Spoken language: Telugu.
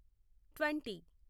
ట్వంటీ